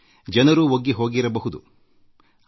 ಜನರೂ ಒಗ್ಗಿಕೊಂಡುಬಿಡುತ್ತಾರೆ